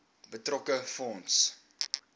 betrokke fonds